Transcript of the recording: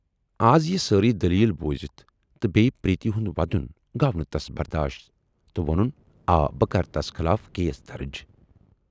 اَز یہِ سٲری دٔلیٖل بوٗزِتھ تہٕ بییہِ پریتی ہُند وَدُن گَو نہٕ تَس بَرداشت تہٕ وونُن آ بہٕ کرٕ تَس خلاف کیس دَرٕج